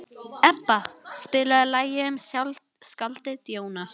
Ebba, spilaðu lagið „Um skáldið Jónas“.